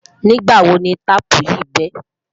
nígbà wò ní taààpu yì be?